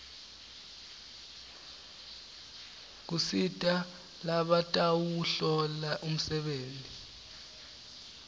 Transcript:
kusita labatawuhlola umsebenti